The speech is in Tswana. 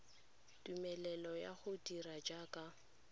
tumelelo ya go dira jaaka